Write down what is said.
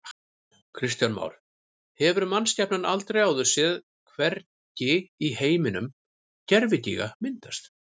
Kristján Már: Hefur mannskepnan aldrei áður séð, hvergi í heiminum, gervigíga myndast?